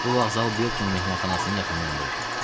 Bu vağzal Biltmore mehmanxanasının yaxınlığında idi.